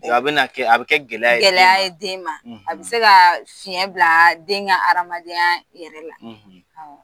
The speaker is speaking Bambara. A bɛna kɛ, a bi kɛ gɛlɛya ye den ma, gɛlɛya ye den ma, a bi se ka fiɲɛ bila den ka hadamadenya yɛrɛ la